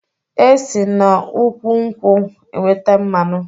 E si n'úkwù nkwụ enweta mmanụ